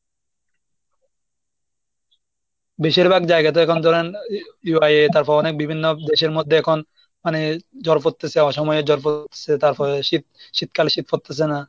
বেশিরভাগ জায়গা তো এখন ধরেন তারপর অনেক বিভিন্ন দেশের মধ্যে এখন মানে জল পড়তেছে, অসময়ে জল পড়ছে, তারপরে শীত শীতকালে শীত পড়তেছে না।